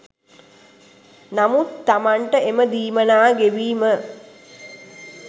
නමුත් තමන්ට එම දීමනා ගෙවීම